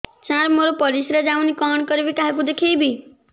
ସାର ମୋର ପରିସ୍ରା ଯାଉନି କଣ କରିବି କାହାକୁ ଦେଖେଇବି